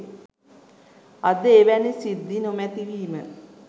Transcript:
අද එවැනි සිද්ධි නොමැති වීම